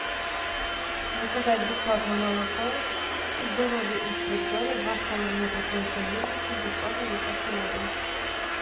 заказать бесплатно молоко здоровье из предгорья два с половиной процента жирности с бесплатной доставкой на дом